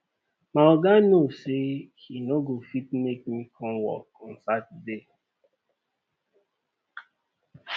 my oga no say he no go fit make me come work on saturday